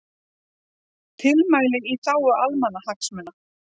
Tilmæli í þágu almannahagsmuna